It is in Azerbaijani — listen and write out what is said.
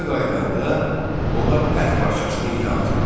Evə qayıdanda onlar ət parçasını itə atırlar.